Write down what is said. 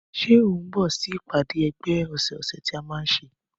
Ṣé o ń lọ sí ìpàdé ẹgbẹ́ ọsẹ ọsẹ tí a man nṣe?